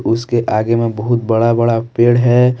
उसके आगे में बहुत बड़ा बड़ा पेड़ है।